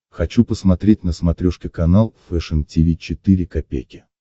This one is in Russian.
хочу посмотреть на смотрешке канал фэшн ти ви четыре ка